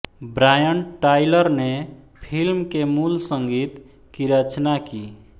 Brian Tyler ने film के मूल संगीत की रचना की